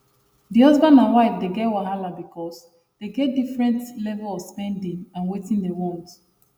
the husband and wife dey get wahala because dey get different level of spending and wetin dey want